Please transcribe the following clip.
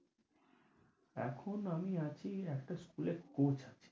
এখন আমি আছি একটা স্কুলে coach আছি।